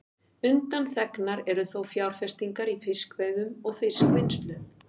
Undanþegnar eru þó fjárfestingar í fiskveiðum og fiskvinnslu.